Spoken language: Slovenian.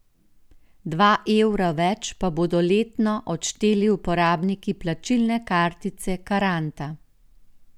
Dva evra več pa bodo letno odšteli uporabniki plačilne kartice Karanta.